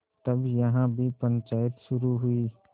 तब यहाँ भी पंचायत शुरू हुई